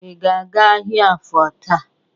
Ị ga-aga ahịa Afọ taa?